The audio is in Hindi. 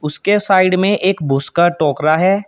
उसके साइड में एक भूस का टोकरा है।